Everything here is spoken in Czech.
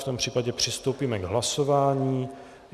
V tom případě přistoupíme k hlasování.